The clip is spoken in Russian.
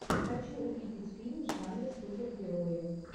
хочу увидеть фильм в жанре супергерои